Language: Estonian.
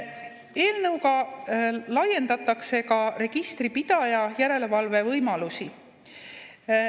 Eelnõuga laiendatakse ka registripidaja järelevalvevõimalusi.